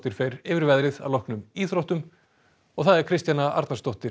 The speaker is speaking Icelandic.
fer yfir veðrið að loknum íþróttum Kristjana Arnarsdóttir